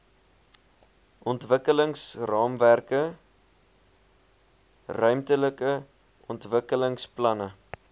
ontwikkelingsraamwerke ruimtelike ontwikkelingsplanne